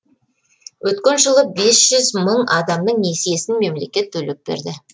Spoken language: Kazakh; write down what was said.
өткен жылы бес жүз мың адамның несиесін мемлекет төлеп берді